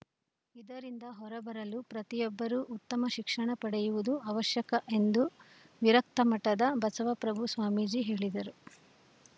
ಇದರಿಂದ ಹೊರಬರಲು ಪ್ರತಿಯೊಬ್ಬರೂ ಉತ್ತಮ ಶಿಕ್ಷಣ ಪಡೆಯುವುದು ಅವಶ್ಯಕ ಎಂದು ವಿರಕ್ತಮಠದ ಬಸವಪ್ರಭು ಸ್ವಾಮೀಜಿ ಹೇಳಿದರು